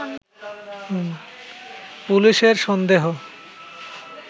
পুলিশের সন্দেহ